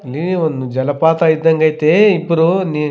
ನೀರ್ ಒಂದ್ ಜಲಪಾತ ಇದ್ದಂಗ್ ಐತೇ ಇಬ್ರು ನೀ --